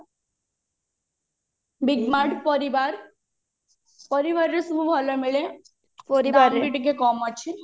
big mart ପରିବାର ପରିବାରରେ ସବୁ ଭଲ ମିଳେ ଦାମ ବି ଟିକେ କମ ଅଛି